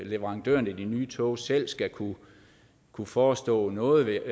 leverandøren af de nye tog selv skal kunne kunne forestå noget